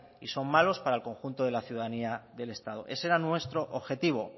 y son malos para el conjunto de la ciudadanía del estado ese era nuestro objetivo